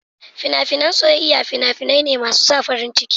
Fina-finan soyayya fina-finai ne masu sa farin ciki.